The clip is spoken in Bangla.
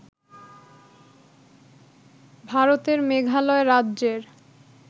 ভারতের মেঘালয় রাজ্যের